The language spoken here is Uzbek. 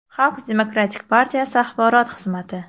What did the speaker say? Xalq demokratik partiyasi axborot xizmati .